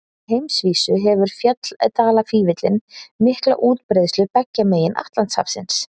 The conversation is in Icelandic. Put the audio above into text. Á heimsvísu hefur fjalldalafífillinn mikla útbreiðslu beggja megin Atlantshafsins.